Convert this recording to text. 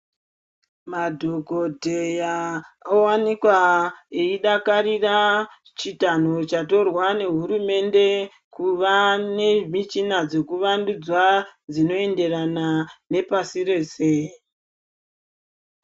Madhokodheya oita eidakarira chitanho chatorwa nehurumende kuva nemuchina dzekuvandudza dzinoenderana Nepasi rese.